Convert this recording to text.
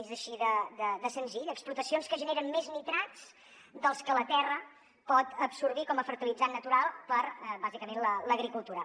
és així de senzill explotacions que generen més nitrats dels que la terra pot absorbir com a fertilitzant natural per a bàsicament l’agricultura